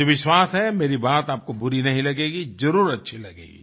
मुझे विश्वास है मेरी बात आपको बुरी नहीं लगेगी जरुर अच्छी लगेगी